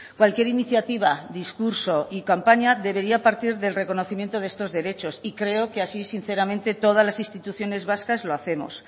cualquier iniciativa discurso y campaña debería partir del reconocimiento de estos derechos y creo que así sinceramente todas las instituciones vascas lo hacemos